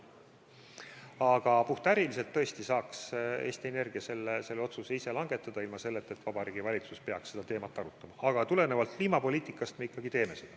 Aga puhtäriliselt saaks Eesti Energia selle otsuse tõesti ise langetada, ilma selleta et Vabariigi Valitsus peaks seda teemat arutama, kuid tulenevalt kliimapoliitikast me seda ikkagi teeme.